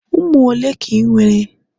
ụmụ ole ka ị nwere?